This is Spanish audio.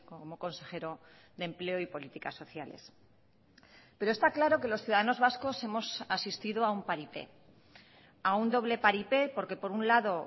como consejero de empleo y políticas sociales pero está claro que los ciudadanos vascos hemos asistido a un paripé a un doble paripé porque por un lado